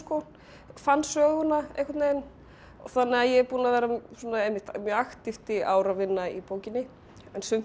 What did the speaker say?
fann söguna einhvern veginn þannig að ég er búin að vera mjög aktíft í ár að vinna í bókinni en sumt er